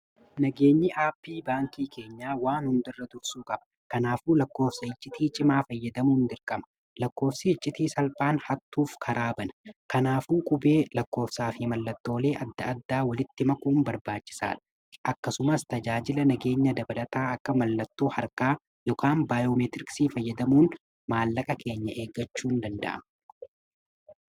Nageenyi aapp baankii keenyaa waan hundarra dursuu qaba. Kanaafuu lakkoofsa iccitii cimaa fayyadamuun dirqama lakkoofsa icciitii salphaan hattuuf karaa bana. Kanaafuu qubee lakkoofsaa fi mallattoolee adda addaa walitti makuun barbaachisaadha. akkasumas tajaajila nageenya dabalataa akka mallattoo harkaa yookiin baayoomeetiriiksii fayyadamuun maallaqa keenya eegachuun ni danda’ama.